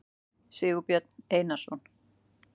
sigurbjörn einarsson